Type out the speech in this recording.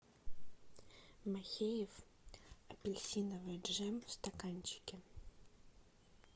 махеев апельсиновый джем в стаканчике